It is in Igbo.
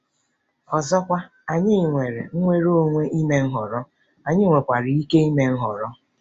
Ọzọkwa, anyị nwere nnwere onwe ime nhọrọ, anyị nwekwara ike ime nhọrọ.